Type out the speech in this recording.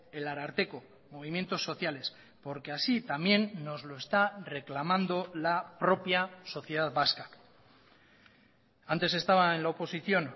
el ararteko movimientos sociales porque así también nos lo está reclamando la propia sociedad vasca antes estaba en la oposición